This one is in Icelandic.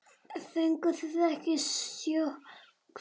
Fenguð þið ekki sjokk?